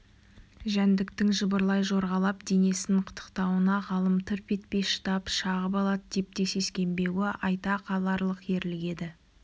жәндіктің жыбырлай жорғалап денесін қытықтауына ғалым тырп етпей шыдап шағып алады деп те сескенбеуі айта қаларлық ерлік еді